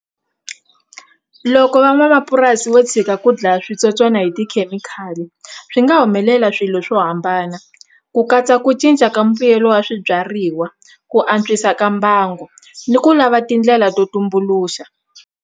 Loko van'wamapurasi vo tshika ku dlaya switsotswana hi tikhemikhali swi nga humelela swilo swo hambana ku katsa ku cinca ka mbuyelo wa swibyariwa ku antswisa ka mbango ni ku lava tindlela to tumbuluxa.